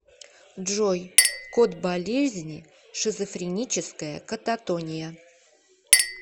джой код болезни шизофреническая кататония